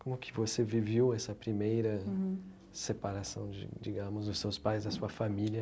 Como que você viveu essa primeira separação, di digamos, dos seus pais e da sua família?